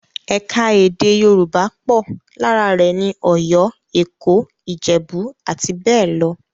Ẹ̀ka-èdè Yorùbá pọ̀, lára rẹ̀ ni Ọ̀yọ́, Èkó, Ìjẹ̀bú, àti bẹ́ẹ̀ lọ.